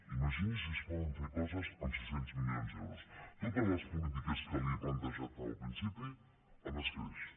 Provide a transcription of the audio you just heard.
imagini’s si es poden fer coses amb sis cents milions d’euros totes les polítiques que li he plantejat al principi amb escreix